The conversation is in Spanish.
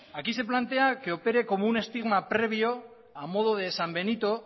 aquí se plantea que opere como un estigma previo a modo de san benito